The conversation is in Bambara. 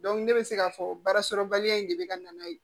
ne bɛ se k'a fɔ baarasɔrɔbaliya in de bɛ ka na n'a ye